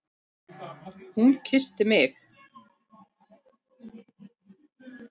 Hún kyssti mig!